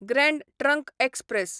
grand trunk express